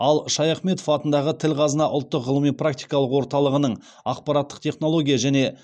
ал шаяхметов атындағы тіл қазына ұлттық ғылыми практикалық орталығының ақпараттық технология және